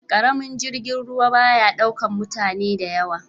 Karamin jirgin ruwa ba ya daukar mutane da yawa.